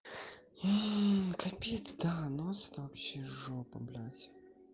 и копить да нос это вообще жопа блядь